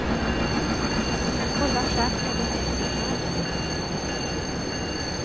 Du kan kolla själv med en enkrona.